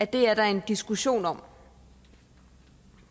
det er der en diskussion om